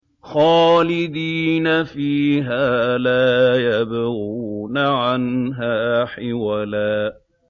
خَالِدِينَ فِيهَا لَا يَبْغُونَ عَنْهَا حِوَلًا